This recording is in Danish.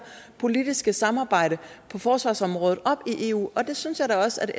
politiske samarbejde på forsvarsområdet op i eu og det synes jeg da også